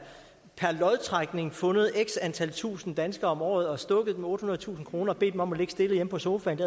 fundet x antal tusinde danskere om året stukket dem ottehundredetusind kroner og bedt dem om at ligge stille hjemme på sofaen